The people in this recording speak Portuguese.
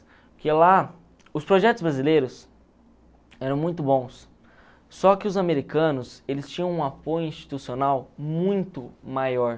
Porque lá, os projetos brasileiros eram muito bons, só que os americanos, eles tinham um apoio institucional muito maior.